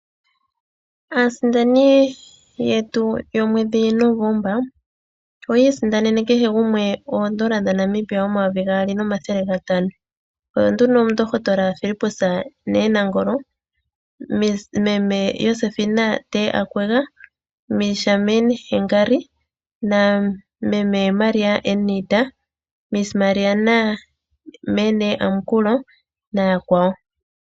Aasindani yetu yomweedhi Novomba, oya isindanene kehe gumwe oondola dha Namibia omayovi gaali nomathele gatano. Oyo nduno omundohotola Philipus N Nangolo, meme Josefina T Akwega, Miss Charmaine Hengari, na meme Maria N Iita, Miss Mirjam M N Amakula na yakwawo.